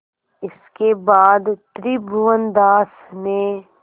इसके बाद त्रिभुवनदास ने